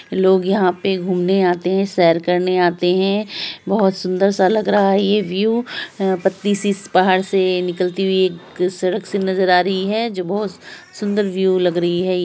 लोग यहाँ पे घूमने आते हैं सैर करने आते हैं बहोत सुन्दर सा लग रहा है ये व्यू अ पतली सी पहाड़ से निकलती हुई एक सडक से नज़र आ रही है जो बहोत सुंदर व्यू लग रही है।